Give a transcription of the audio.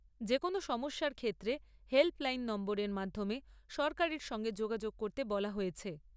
যে কোনো সমস্যার ক্ষেত্রে হেল্প লাইন নম্বরের মাধ্যমে সরকারের সঙ্গে যোগাযোগ করতে বলা হয়েছে।